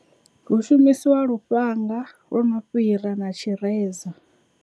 Hu shumisiwa lufhanga lwo no fhira na tshireza.